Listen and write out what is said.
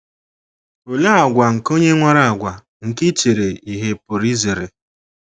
Olee àgwà nke onye nwere àgwà nke ichere ihe pụrụ izere?